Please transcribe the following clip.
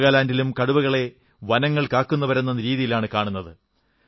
നാഗാലാന്റിലും കടുവകളെ വനങ്ങൾ കാക്കുന്നവരെന്ന രീതിയിലാണു കാണുന്നത്